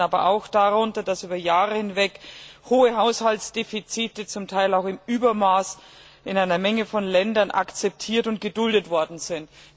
Sie leiden aber auch darunter, dass über Jahre hinweg hohe Haushaltsdefizite zum Teil auch im Übermaß in einer Vielzahl von Ländern akzeptiert und geduldet worden sind.